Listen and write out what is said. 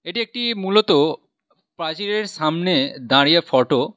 এটি একটি মূলত প্রাচীরের সামনে দাঁড়িয়ে ফটো ।